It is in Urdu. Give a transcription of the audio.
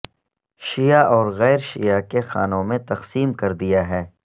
شیعہ اور غیر شیعہ کے خانوں میں تقسیم کردیا ہے